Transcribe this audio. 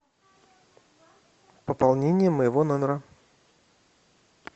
пополнение моего номера